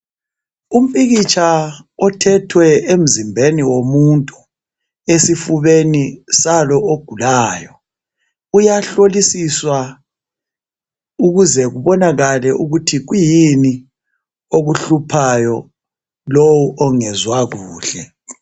Umpikitsha othethwe emzimbeni womuntu esifubeni salo ogulayo, uyahlolisiswa ukuze kubonakale ukuthi kwiyini okuhluphayo lo ongezwa kuhle.